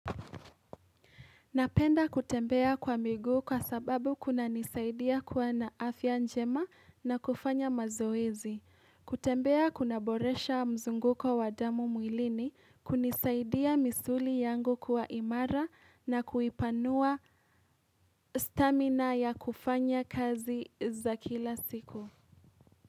Napenda kutembea kwa migu kwa sababu kunanisaidia kuwa na afya njema na kufanya mazoezi. Kutembea kunaboresha mzunguko wa damu mwilini, kunisaidia misuli yangu kwa imara na kuipanua stamina ya kufanya kazi za kila siku.